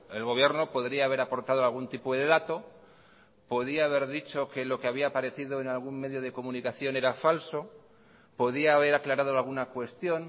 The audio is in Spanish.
el gobierno podría haber aportado algún tipo de dato podía haber dicho que lo que había aparecido en algún medio de comunicación era falso podía haber aclarado alguna cuestión